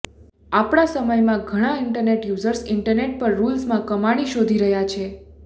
આપણા સમયમાં ઘણાં ઇન્ટરનેટ યુઝર્સ ઇન્ટરનેટ પર રૂલ્સમાં કમાણી શોધી રહ્યા છે